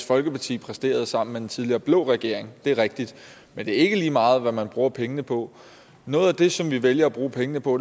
folkeparti præsterede sammen med den tidligere blå regering det er rigtigt men det er ikke lige meget hvad man bruger pengene på noget af det som vi vælger at bruge pengene på